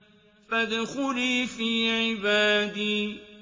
فَادْخُلِي فِي عِبَادِي